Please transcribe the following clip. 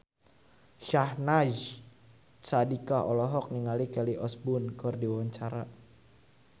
Syahnaz Sadiqah olohok ningali Kelly Osbourne keur diwawancara